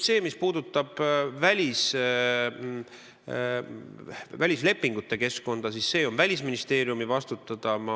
See, mis puudutab välislepingute keskkonda, on Välisministeeriumi vastutada.